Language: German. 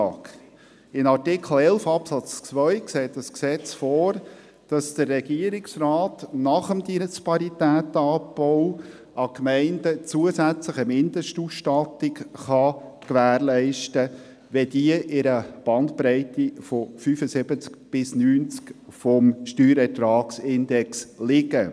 In Artikel 11 Absatz 2 sieht das Gesetz vor, dass der Regierungsrat nach dem Disparitätenabbau den Gemeinden eine Mindestausstattung gewährleisten kann, wenn diese in einer Bandbreite von 75–90 des Steuerertragsindexes liegen.